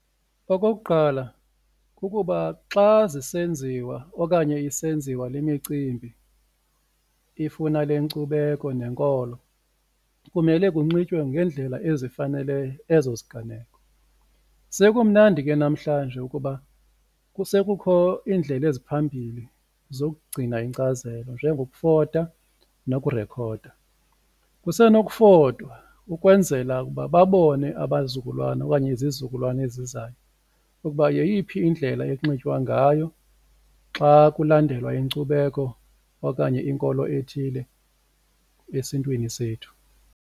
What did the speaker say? Okokuqala, kukuba xa zisenziwa okanye isenziwa le micimbi ifuna le nkcubeko nenkolo kumele kunxitywe ngeendlela ezifanele ezo ziganeko. Sekumnandi ke namhlanje ukuba kusekukho iindlela eziphambili zokugcina inkcazelo njengokufota nokurekhoda. Kusenokufotwa ukwenzela ukuba babone abazukulwana okanye izizukulwana ezizayo ukuba yeyiphi indlela ekunxitywa ngayo xa kulandelwa inkcubeko okanye inkolo ethile esiNtwini sethu.